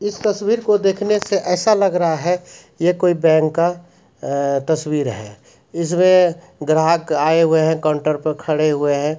इस तस्वीर को देखने से ऐसा लग रहा है ये कोई बैंक का अ तस्वीर है इसमे ग्राहक आए हुए हैं काउंटर पर खड़े हुए है।